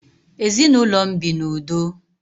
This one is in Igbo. Ezi na ulo m bi na udoo.